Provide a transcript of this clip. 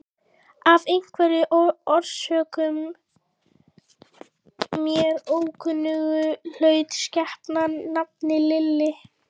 Af einhverjum orsökum, mér ókunnum, hlaut skepnan nafnið Lilli.